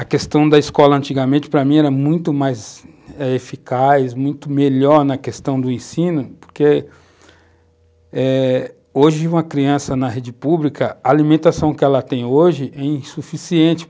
A questão da escola antigamente para mim era muito mais eficaz, muito melhor na questão do ensino, porque eh hoje uma criança na rede pública, a alimentação que ela tem hoje é insuficiente.